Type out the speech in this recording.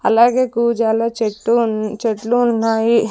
అలాగే కూజాలో చెట్టు ఉన్ చెట్లు ఉన్నాయి.